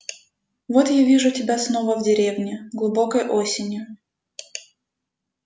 вот я вижу себя снова в деревне глубокой осенью